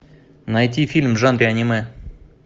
найти фильм в жанре аниме